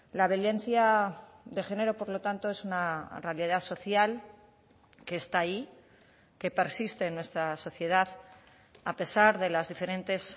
la violencia de género por lo tanto es una realidad social que está ahí que persiste en nuestra sociedad a pesar de las diferentes